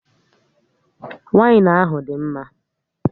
Wainu ahụ dị mma